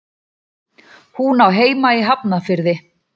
Hún á heima í Hafnarfirði.